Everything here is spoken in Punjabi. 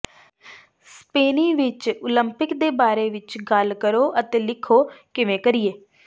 ਸਪੇਨੀ ਵਿੱਚ ਓਲੰਪਿਕ ਦੇ ਬਾਰੇ ਵਿੱਚ ਗੱਲ ਕਰੋ ਅਤੇ ਲਿਖੋ ਕਿਵੇਂ ਕਰੀਏ